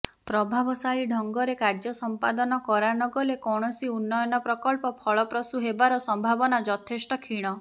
ପ୍ରଭାବଶାଳୀ ଢଙ୍ଗରେ କାର୍ଯ୍ୟ ସମ୍ପାଦନ କରାନଗଲେ କୌଣସି ଉନ୍ନୟନ ପ୍ରକଳ୍ପ ଫଳପ୍ରସୂ ହେବାର ସମ୍ଭାବନା ଯଥେଷ୍ଟ କ୍ଷୀଣ